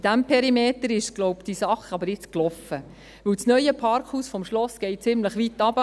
In diesem Perimeter ist die Sache aber nun gelaufen, glaube ich, denn das neue Parkhaus des Schlosses geht ziemlich weit hinunter;